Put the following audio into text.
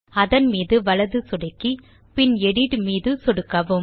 அதன் மீது வலது சொடுக்கி பின் எடிட் மீது சொடுக்கவும்